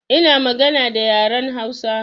Ina magana da yaren Hausa